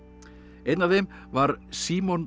einn af þeim var Símon